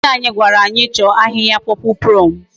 Onye nkuzi anyi gwara anyi cho ahihia purple plume